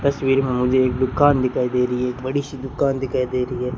तस्वीर में मुझे एक दुकान दिखाई दे रही है एक बड़ी सी दुकान दिखाई दे रही है।